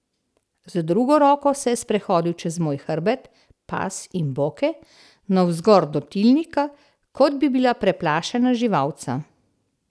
Z drugo roko se je sprehodil čez moj hrbet, pas in boke, navzgor do tilnika, kot bi bila preplašena živalca.